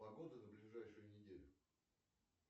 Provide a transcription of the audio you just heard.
погода на ближайшую неделю